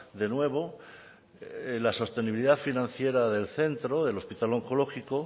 de nuevo la sostenibilidad financiera del centro del hospital onkologiko